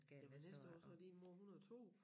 Jamen næste år så er din mor 102